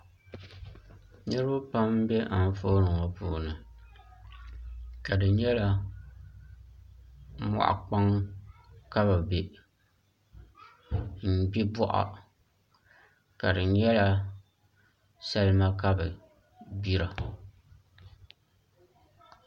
Niraba pam n bɛ anfooni ŋo puuni ka di nyɛla moɣu kpaŋ ka bi bɛ n gbi boɣa ka di nyɛla salima ka bi gbira